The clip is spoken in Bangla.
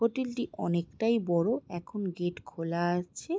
হোটেলটি অনেকটাই বড় এখন গেট খোলা আছে।